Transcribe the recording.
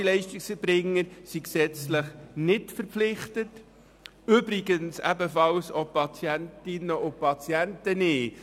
Ambulante Leistungserbringer sind gesetzlich nicht dazu verpflichtet, Patientinnen und Patienten übrigens ebenfalls nicht.